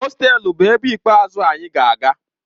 Hostelu bụ ebe ikpeazụ anyị ga-aga.